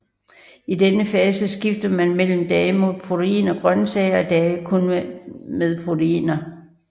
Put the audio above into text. I denne fase skifter man mellem dage med proteiner og grøntsager og dage kun med proteiner